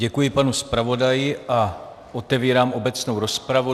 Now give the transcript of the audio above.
Děkuji panu zpravodaji a otevírám obecnou rozpravu.